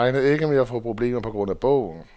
Han regner ikke med at få problemer på grund af bogen.